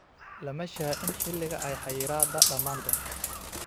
Lama shaacin xilliga ay xayiraadda dhammaan doonto.